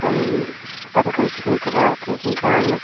um pankao khing taga tenkao ma.